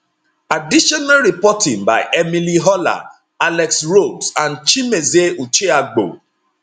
additional reporting by emily horler alex rhodes and chimezie ucheagbo